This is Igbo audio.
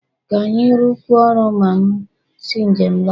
Ka anyị rụkọọ ọrụ ma m si njem lọta